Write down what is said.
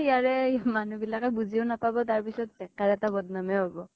ইয়াৰে মানুহ বিলাকে বুজিও নাপাব। তাৰ পিছত বেকাৰ এটা বদ্নাম হে হব।